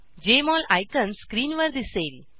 Jmol icon स्क्रीनवर दिसेल